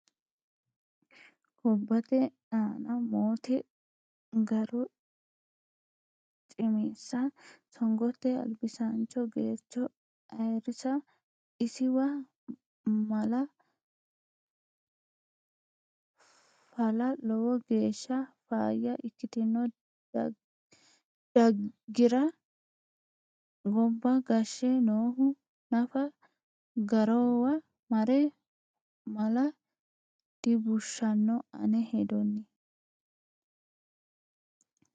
Gobbate anna moote ga'ro cimessa songote albisancho Geercho ayirrisa isiwa ma'la fa'la lowo geeshsha faayya ikkitino daagira gobba gashshe noohu nafa ga'rowa mare ma'la dibushano ane hedooti.